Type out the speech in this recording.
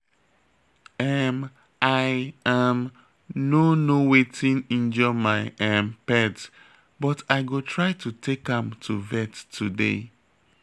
um I um no know wetin injure my um pet but I go try to take am to vet today